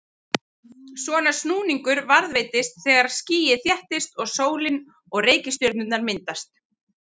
Svona snúningur varðveitist þegar skýið þéttist og sólin og reikistjörnurnar myndast.